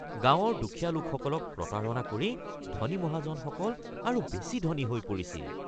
গাঁৱৰ দুখীয়া লোকসকলক প্ৰতাৰণা কৰি ধনী মহাজনসকল আৰু বেছি ধনী হৈ পৰিছিল।